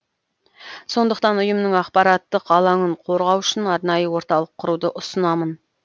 сондықтан ұйымның ақпараттық алаңын қорғау үшін арнайы орталық құруды ұсынамын